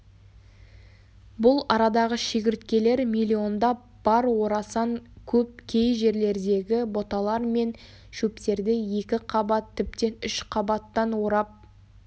бұл арадағы шегірткелер миллиондап бар орасан көп кей жерлердегі бұталар мен шөптерді екі қабат тіптен үш қабаттан орап